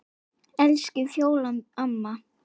Elsku Fjóla amma.